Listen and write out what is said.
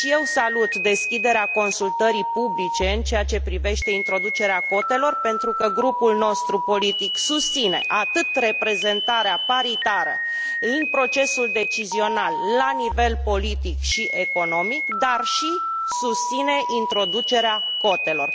Salut și eu deschiderea consultării publice în ceea ce privește introducerea cotelor, pentru că grupul nostru politic susține atât reprezentarea paritară în procesul decizional la nivel politic și economic, cât și introducerea cotelor.